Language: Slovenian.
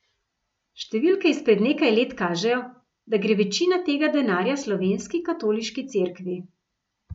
Številke izpred nekaj let kažejo, da gre večina tega denarja slovenski katoliški cerkvi.